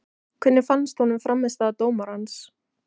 Hvernig fannst honum frammistaða dómarans?